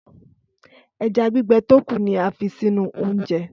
Ẹja gbígbẹ tó kù ni a fi sínú oúnjẹ.